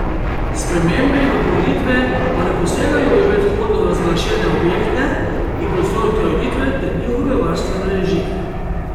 Spremembe in dopolnitve pa ne posegajo v predhodno razglašene objekte in prostorske ureditve ter njihove varstvene režime.